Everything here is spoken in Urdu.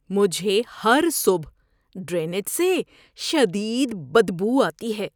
مجھے ہر صبح ڈرینیج سے شدید بدبو آتی ہے۔